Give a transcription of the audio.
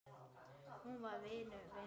Hún var vinur vina sinna.